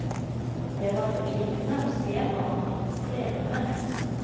Det var fortvilende å se hva han måtte streve med.